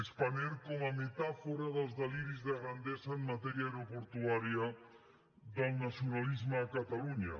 spanair com a metàfora dels deliris de grandesa en matèria aeroportuària del nacionalisme a catalunya